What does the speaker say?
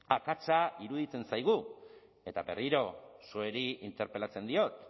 akatsa iruditzen zaigu eta berriro zuei interpelatzen diot